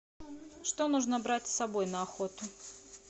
что нужно брать с собой на охоту